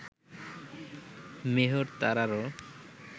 মেহর তারারও